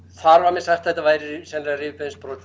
þar var mér sagt að þetta væri sennilega rifbeinsbrot